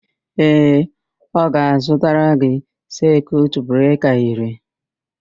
Ee, ọ ga-azụtara gị sekiut breka iri.